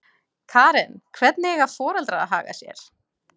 Karen: Hvernig eiga foreldrar að haga sér?